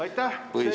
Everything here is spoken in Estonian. Aitäh!